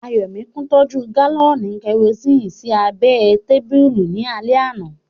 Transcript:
Ayọ̀míkún tọ́jú gálọ̀nì kẹrosini sí abẹ́ ẹ tábìlì ní alẹ́ àná